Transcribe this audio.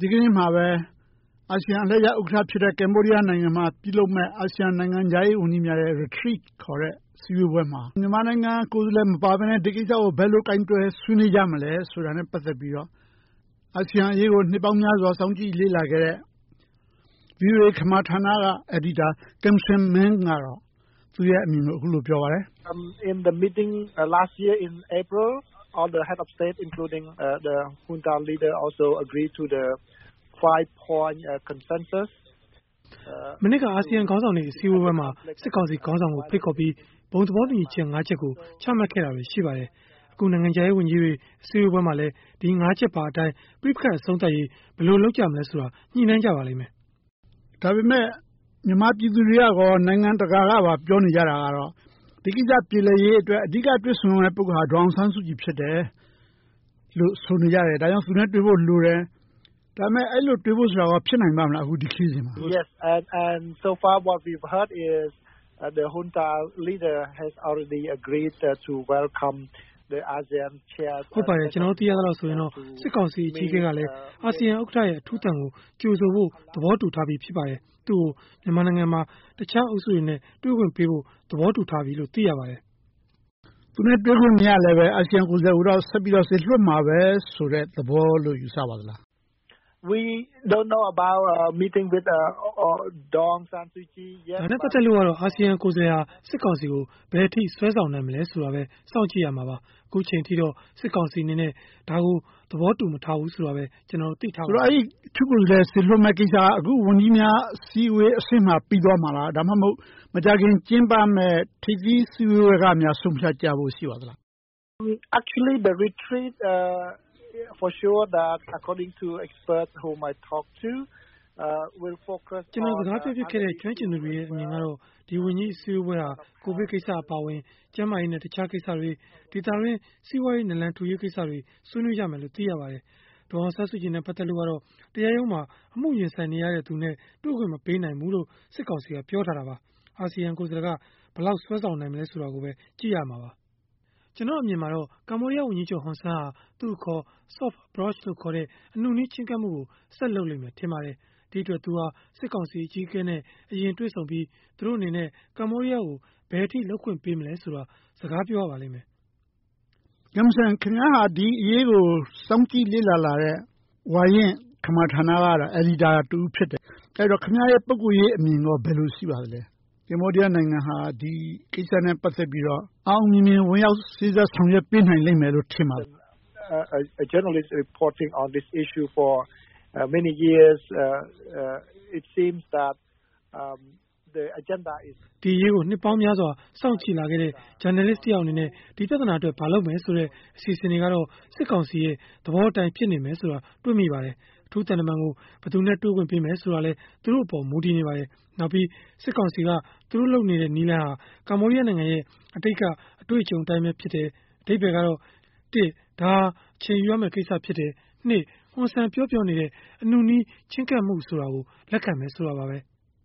ဒီကနေ့မှာပဲ အာဆီယံအလှည့်ကျ ဥက္ကဌဖြစ်တဲ့ ကမ္ဘောဒီယားနိုင်ငံ မှာ ပြု့လုပ်မဲ့ အာဆီယံနိုင်ငံခြားရေးဝန်ကြီးများ ရဲ့ Retreat ခေါ်တဲ့ အစည်းအဝေးမှာ မြန်မာနိုင်ငံ ကိုယ်စားလှယ် မပါပဲနဲ့ ဒီကိစ္စကို ဘယ်လိုကိုင်တွယ် ဆွေးနွေးကြမလဲဆိုတာ နဲ့ ပတ်သက်ပြီးတော့ အာဆီယံအရေးကို နှစ်ပေါင်းများစွာ စောင့်ကြည့်လေ့လာခဲ့တဲ့ ဗွီအိုအေ ခမာဌာနက အယ်ဒီတာ Kimseng Men ကတော့ သူရဲ့အမြင်ကို အခုလိုပြောပါတယ် ။ မနှစ်က အာဆီယံခေါင်းဆောင်တွေ အစည်းအဝေးပွဲမှာ စစ်ကောင်စီခေါင်းဆောင်ကို ဖိတ်ခေါ်ပြီး ဘုံသဘောတူညီချက် ၅ ချက်ကို ချမှတ်ခဲ့တာတွေရှိပါတယ်။ အခုနိုင်ငံခြားရေးဝန်ကြီးတွေ အစည်းအဝေးမှာလည်း ပဋိပက္ခတွေ အဆုံးသတ်ရေး ဘယ်လိုလုပ်ကြမလဲဆိုတာ ညှိနှိုင်းကြပါလိမ့်မယ်။ ဒါပေမယ့် မြန်မာပြည်သူတွေကရော နိုင်ငံတကာ ကပါပြောနေကြတာက ဒီကိစ္စပြေလည်ရေး အဓိကတွေ့ဆုံရမယ့် ပုဂ္ဂိုလ်က ဒေါ်အောင်ဆန်းစုကြည်ဖြစ်တယ်လို့ ဆိုနေကြတယ်။ ဒါကြောင့် သူနဲ့တွေ့ဖို့လိုတယ်။ ဒါပေမယ့် အဲဒီလို တွေ့ဆုံဖို့ဆိုတာကော ဖြစ်နိုင်ပါမလား။ အခုဒီခရီးစဉ်မှာ ။ ဟုတ်ပါတယ်။ ကျနော်တို့ သိရသလောက်ဆိုရင် စစ်ကောင်စီ အကြီးအကဲကလည်း အာဆီယံဥက္ကဌ ရဲ့ အထူးသံကို ကြိုဆိုဖို့ သဘောတူထားပြီးဖြစ်ပါတယ်။ သူကို မြန်မာနိုင်ငံမှာ တခြားအုပ်စုတွေနဲ့ တွေ့ဖို့ သဘောတူထားပြီလို့သိရပါတယ်။ သူနဲ့ တွေ့ခွင့်မရလည်း အာဆီယံ ကိုယ်စားလှယ် ကိုတော့ စေလွှတ်မှာပဲလို့ ယူဆပါသလား။ ဒါနဲ့ပတ်သက်လို့ကတော့ အာဆီယံ ကိုယ်စားလှယ်ဟာ စစ်ကောင်စီကို ဘယ်အထိ စွဲဆောင်နိုင်မလဲဆိုတာကိုပဲ စောင့်ကြည့်ရမှာပါ။ ခုချိန်အထိတော့ စစ်ကောင်စီအနေနဲ့ ဒါကို သဘောတူမထားဘူးဆိုတာကိုပဲ သိထားပါတယ်။ အဲဒီအထူးကိုယ်စားလှယ်စေလွှတ်မယ့်ကိစ္စက အခုဝန်ကြီးများအစည်းအဝေးအဆင့် မှာပြီးသွားမှာလား။ ဒါမှမဟုတ် မကြာခင် ကျင်းပမယ့် ထိပ်သီးစည်းဝေးကများ ဆုံးဖြတ်ကြဖို့ရှိမလား။ ကျနော်စကားပြောဖြစ်ခဲ့တဲ့ ကျွမ်းကျင်သူတွေရဲ့ အမြင်ကတော့ ဒီဝန်ကြီးအစည်းအဝေးဟာ ကိုဗစ်ကိစ္စအပါအဝင် ဒေသတွင်း စီးပွားရေး နလန်ထူရေး ကိစ္စတွေကို ဆွေးနွေးကြမယ်လို့သိရပါတယ်။ ဒေါ်အောင်ဆန်းစုကြည် နဲ့ ပတ်သက်လို့ကတော့ တရားရုံးမှာ အမှုရင်ဆိုင်နေတဲ့သူနဲ့ တွေ့ခွင့်မပေးနိုင်ဘူးလို့ စစ်ကောင်စီ က ပြောထားတာပါ။ အာဆီယံကိုယ်စားလှယ်က ဘယ်လောက်ဆွဲဆောင်နိုင်မလဲဆိုတာကိုပဲ ကြည့်ရမှာပါ။ ကျနော်အမြင်တော့ ကမ္ဘောဒီယားဝန်ကြီးချုပ် ဟွန်ဆန်း ဟာ သူအခေါ် Soft Approch ခေါ်တဲ့ အနုနည်းချဉ်းကပ်မှုကို ဆက်လုပ်လိမ့်မယ်ထင်ပါတယ်။ ဒီအတွက် သူဟာ စစ်ကောင်စီအကြီးအကဲနဲ့ အရင်တွေ့ဆုံပြီး သူတို့အနေနဲ့ ကမ္ဘောဒီးယားကို ဘယ်အထိလုပ်ခွင့်ပေးမလဲဆိုတာကို စကားပြောရပါလိမ့်မယ်။ Kimseng ခင်ဗျားဟာ ဒီအရေးကို စောင့်ကြည့်လေ့လာလာတဲ့ ဝါရင့် ခမာဌာနက အယ်ဒီတာ တဦးဖြစ်တယ်။ အဲဒီတော့ ခင်ဗျားရဲ့ ပုဂ္ဂိုလ်ရေးအမြင်ကော ဘယ်လိုရှိပါသလဲ။ ကမ္ဘောဒီယားနိုင်ငံဟာ ဒီကိစ္စ အောင်အောင်မြင်မြင်နဲ့ စေ့စပ်ဆောင်ရွက်ပေးနိုင်မယ်ထင်ပါသလား။ ဒီအရေးကို နှစ်ပေါင်းများစွာ စောင့်ကြည့်လာခဲ့တဲ့ ဂျာနယ်လစ်တယောက်အနေနဲ့ ဒီပြသာနာအတွက် ဘာလုပ်မယ်ဆိုတဲ့ အစီအစဉ်တွေကတော့ စစ်ကောင်စီရဲ့ သဘောအတိုင်းဆိုတာ တွေ့မိပါတယ်။ အထူးသံတမန်ကို ဘယ်သူနဲ့ တွေ့ခွင့်ပေးမယ်ဆိုတာကလည်း သူတို့အပေါ်မူတည်နေပါတယ်။ နောက်ပြီး စစ်ကောင်စီက သူတို့လုပ်နေတဲ့ နည်းလမ်းဟာ ကမ္ဘောဒီယားနိုင်ငံရဲ့ အတိတ်က အတွေ့အကြုံအတိုင်းပဲဖြစ်တယ် ။ အဓိပ္ပါယ်ကတော့ ဒါဟာအချိန်ယူရမယ့် ကိစ္စဖြစ်တယ်။ ဟွန်ဆန်ပြောပြောနေတဲ့ အနုနည်း ချဉ်းကပ်မှုကို လက်ခံတယ်ဆိုတာပါပဲ။